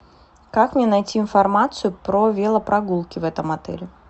как мне найти информацию про велопрогулки в этом отеле